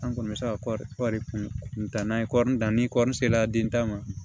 An kɔni bɛ se ka kɔɔri kuntaa n'an ye kɔri dan ni kɔɔri sera den tan ma